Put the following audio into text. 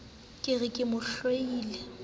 ke re ke mo hloile